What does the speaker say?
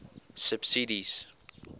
subsidies